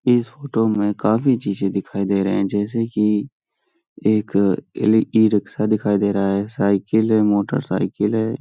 इस फोटो में काफी चीज़ें दिखाई दे रहें हैं जैसे की एक ए इ-रिक्शा दिखाई दे रहा है साइकिल है मोटरसाइकिल है |